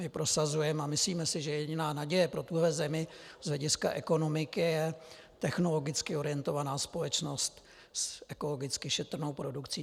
My prosazujeme a myslíme si, že jediná naděje pro tuhle zemi z hlediska ekonomiky je technologicky orientovaná společnost s ekologicky šetrnou produkcí.